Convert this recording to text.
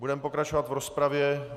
Budeme pokračovat v rozpravě.